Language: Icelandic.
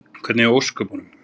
Hvernig í ósköpunum?